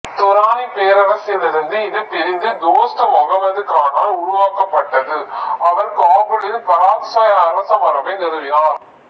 துராணிப் பேரரசிலிருந்து இது பிரிந்து தோஸ்த் மொகமது கானால் உருவாக்கப்பட்டது அவர் காபூலில் பராக்சாய் அரசமரபை நிறுவினார்